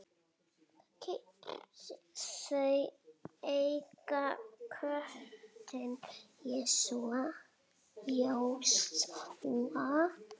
Þau eiga köttinn Jósúa.